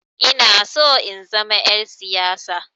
Inaso in zama 'yar siyasa.